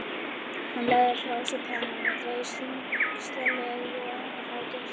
Hann lagði frá sér pennann og reis þyngslalega á fætur.